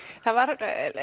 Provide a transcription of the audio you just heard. það var